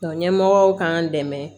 Nka ɲɛmɔgɔw k'an dɛmɛ